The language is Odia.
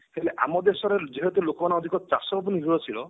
ହେଲେ ଆମ ଦେଶରେ ଯେହେତୁ ଲୋକମାନେ ଅଧିକ ଚାଷ ଉପରେ ନିର୍ଭରଶୀଳ